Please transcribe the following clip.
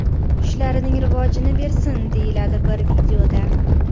Ishlarining rivojini bersin” deyiladi bir videoda.